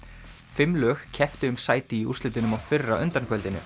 fimm lög kepptu um sæti í úrslitunum á fyrra